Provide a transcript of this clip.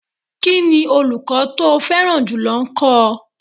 Kí ni olùkọ́ tó o fẹ́ràn jùlọ kọ́ ọ?